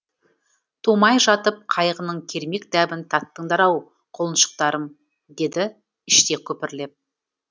тумай жатып қайғының кермек дәмін таттыңдар ау құлыншықтарым деді іштей күбірлеп